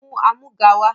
Mú amúga wá!